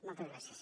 moltes gràcies